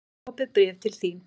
Hér er smá opið bréf til þín.